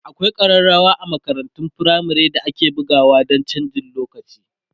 akwai karrawa a makarantun firamare da ake bugawa Dan chanjin lokaci